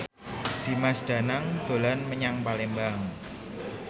Dimas Danang dolan menyang Palembang